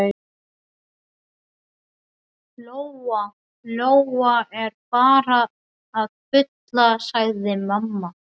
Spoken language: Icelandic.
Lóa Lóa er bara að bulla, sagði mamma.